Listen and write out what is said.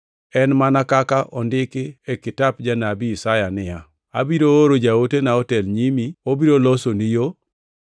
En mana kaka ondiki e kitap Janabi Isaya niya, “Abiro oro jaotena otel e nyimi, obiro losoni yo.” + 1:2 \+xt Mal 3:1\+xt*